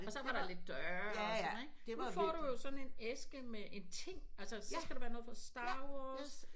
Og så var der lidt døre og sådan ikke nu får du jo sådan en æske med en ting altså så skal der være noget fra Star Wars